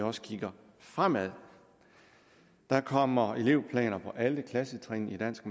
også kigger fremad der kommer elevplaner på alle klassetrin i dansk